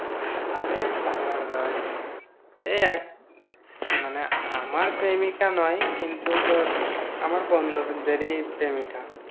আরে তা নয়। এই এক মানে আমার প্রেমিকা নয় কিন্তু, তোর আমার বন্ধুদেরই প্রেমিকা।